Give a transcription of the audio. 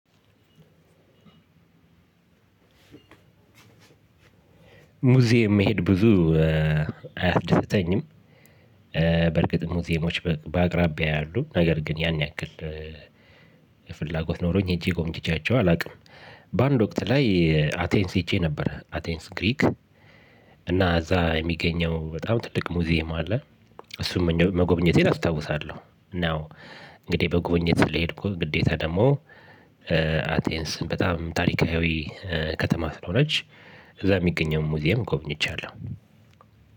ሙዚየም መሄድ ብዙ አያስደስተኝም። በርግጥ ሙዚየሞች በአቅራቢያ ያሉ ነገር ግን ያን ያክል ፍላጎት ኖሮኝ ሄጄ ጎብኝቻቸው አላውቅም። በአንድ ወቅት ላይ አቴንስ ሄጄ ነበር አቴንስ ግሪክ። እና እዛ የሚገኘው በጣም ትልቅ ሙዚየም አለ። እሱን መጎብኘቴን አስታውሳለሁ። እና እንግዲህ በጉብኘት ስለሄድኩ ግዴታ ደግሞ እ አቴንስ በጣም ታሪካዊ ከተማ ስለሆነች እዛ የሚገኘውን ሙዚየም ጎብኝቻለሁ።